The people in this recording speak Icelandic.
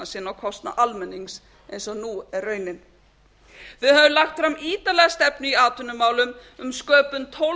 sinn á kostnað almennings eins og nú er raunin við höfum lagt fram ítarlega stefnu í atvinnumálum um sköpun tólf